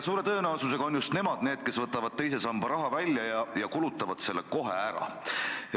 Suure tõenäosusega on just nemad need, kes võtavad teise samba raha välja ja kulutavad selle kohe ära.